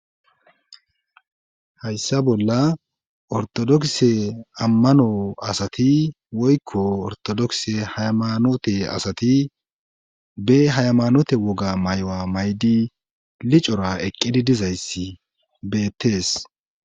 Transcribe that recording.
hayssa bolla ortodokse ammano asati woykko ortodokse haymanote asati be haymanote woga may7oa maydi licora eqqidi dizayssi beettees